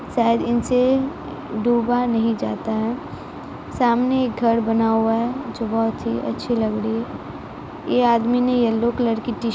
शायद इनसे डूबा नहीं जाता है सामने एक घर बना हुआ है जो बहोत ही अच्छी लग रही है ये आदमी ने येल्लो कलर की टीशर्ट --